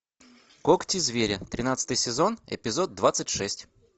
когти зверя тринадцатый сезон эпизод двадцать шесть